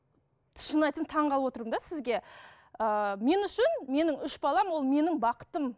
шынын айтсам таңғалып отырмын да сізге ыыы мен үшін менің үш балам ол менің бақытым